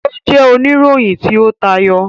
O jẹ onirohin ti o tayọ.